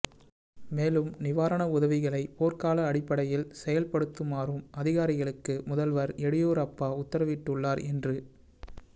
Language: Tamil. மேலும் நிவாரண உதவிகளை போர்க்கால அடிப்படையில் செயல்படுத்துமாறும் அதிகாரிகளுக்கு முதல்வர் எடியூரப்பா உத்தரவிட்டுள்ளார் என்று